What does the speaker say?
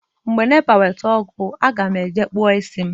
Ndị nepa weta ọkụ, aga m eje kpụọ isi m